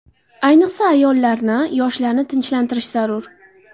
Ayniqsa, ayollarni, yoshlarni tinchlantirish zarur.